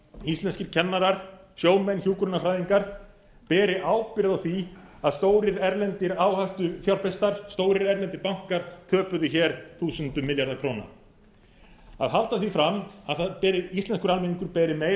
íslenskir kennarar sjómenn hjúkrunarfræðingar beri ábyrgð á því að stórir erlendir áhættufjárfestar stórir erlendir bankar töpuðu hér þúsundum milljarða króna að halda því fram að íslenskur almenningur beri meiri